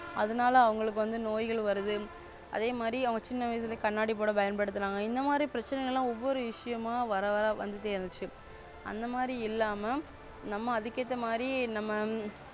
அதுனால அவங்களுக்கு வந்து நோய்கள் வருது அதே மாதிரி அவ சின்ன வயசுல கண்ணாடி போட பயன்படுத்துரங்க. இந்த மாதிரி பிரச்சனை லாம் ஒவ்வொரு விஷயமா வர வா வந்துட்டே இருந்துச்சு. அந்த மாதிரி இல்லாம நம்ம அதுக்கு ஏத்த மாதிரி நம்ம.